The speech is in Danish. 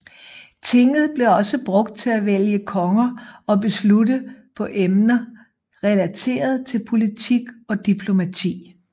Tinget blev også brugt til at vælge konger og beslutte på emner relateret til politik og diplomati